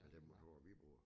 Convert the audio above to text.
Med dem motorer vi bruger